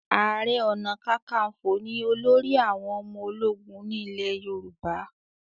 aré ọnà kankanfo ní olórí àwọn ọmọ ológun ní ilè yorùbá